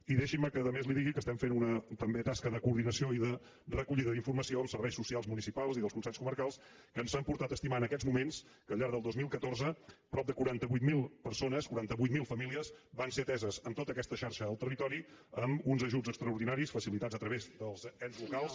i deixin me que a més li digui que estem fent una també tasca de coordinació i de recollida d’informació amb serveis socials municipals i dels consells comarcals que ens ha portat a estimar en aquests moments que al llarg del dos mil catorze prop de quaranta vuit mil persones quaranta vuit mil famílies van ser ateses en tota aquesta xarxa al territori amb uns ajuts extraordinaris facilitats a través dels ens locals